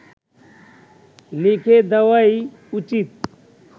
লিখে দেওয়াই উচিত